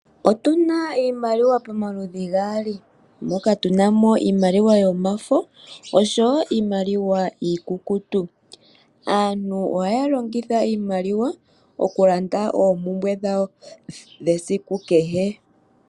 Otu na iimaliwa pamaludhi gaali moka tu na mo iimaliwa yomafo nosho wo iimaliwa iikukutu. Aantu ohaya longitha iimaliwa okulanda oompumbwe dhawo dhesiku kehe.